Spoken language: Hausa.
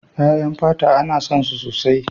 Ƴaƴan fata ana son su sosai.